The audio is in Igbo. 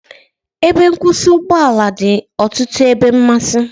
Ebe nkwụsị ụgbọ ala dị n'ọtụtụ ebe mmasị